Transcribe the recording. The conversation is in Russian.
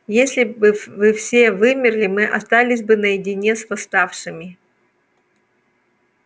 если бы вы все вымерли мы остались бы наедине с восставшими